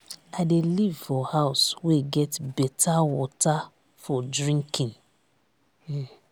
i dey live for house wey get beta water for drinking.